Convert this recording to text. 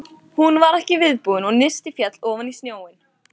Hún var ekki viðbúin og nistið féll ofan í snjóinn.